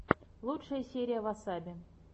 лучшая серия васаби